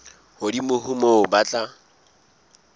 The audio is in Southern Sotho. hodimo ho moo ba tla